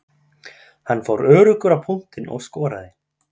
Hann fór öruggur á punktinn og skoraði.